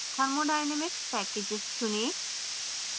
thermodynamic packages चुनें